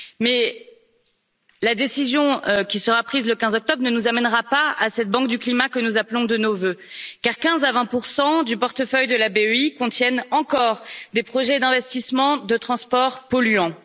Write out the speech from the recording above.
Cependant, la décision qui sera prise le 15 octobre ne nous amènera pas à cette banque du climat que nous appelons de nos voeux, car 15 à 20 pour cent du portefeuille de la BEI contiennent encore des projets d'investissements dans les transports polluants.